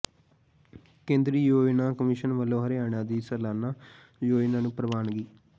ਕੇਂਦਰੀ ਯੋਜਨਾ ਕਮਿਸ਼ਨ ਵੱਲੋਂ ਹਰਿਆਣਾ ਦੀ ਸਾਲਾਨਾ ਯੋਜਨਾ ਨੂੰ ਪ੍ਰਵਾਨਗੀ